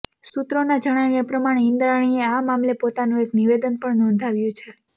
સૂત્રોના જણાવ્યા પ્રમાણે ઈન્દ્રાણીએ આ મામલે પોતાનું એક નિવેદન પણ નોંધાવ્યું છે